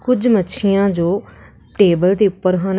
ਕੁਛ ਮੱਛੀਆਂ ਜੋ ਟੇਬਲ ਦੇ ਉੱਪਰ ਹਨ।